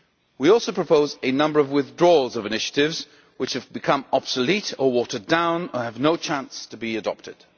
We also propose a number of withdrawals of initiatives which have become obsolete or watered down and have no chance to be adopted.